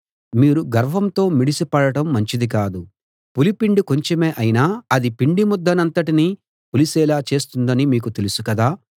మీరు గర్వంతో మిడిసిపడడం మంచిది కాదు పులిపిండి కొంచెమే అయినా అది పిండి ముద్దనంతటినీ పులిసేలా చేస్తుందని మీకు తెలుసు కదా